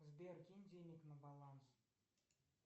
сбер кинь денег на баланс